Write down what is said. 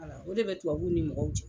o de bɛ tubabuw ni mɔgɔw cɛ.